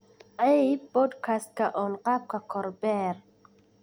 aib podcast on qaabka kor beer